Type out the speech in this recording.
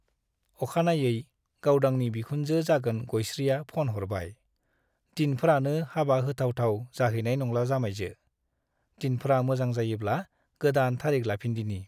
अखानायै गावदांनि बिखुनजो जागोन गयस्रिया फ'न हरबाय , दिनफ्रानो हाबा होथाव थाव जाहैनाय नंला जामाइजो , दिनफ्रा मोजां जायोब्ला गोदान तारिख लाफिनदिनि ।